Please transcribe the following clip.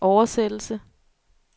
oversættelse